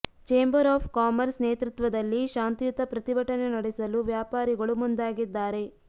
chamber of commerce ನೇತೃತ್ವದಲ್ಲಿ ಶಾಂತಿಯುತ ಪ್ರತಿಭಟನೆ ನಡೆಸಲು ವ್ಯಾಪಾರಿಗಳು ಮುಂದಾಗಿದ್ದಾರೆ